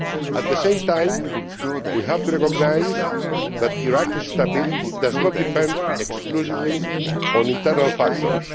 At the same time, we have to recognise that Iraq's stability does not depend exclusively on internal factors.